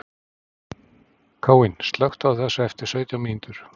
Káinn, slökktu á þessu eftir sautján mínútur.